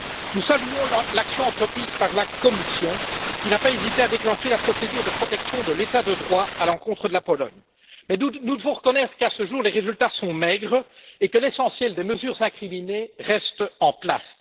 Nous saluons l'action entreprise par la Commission, qui n'a pas hésité à déclencher la procédure de protection de l'état de droit à l'encontre de la Pologne. Mais nous devons reconnaître qu'à ce jour, les résultats sont maigres et que l'essentiel des mesures incriminées restent en place.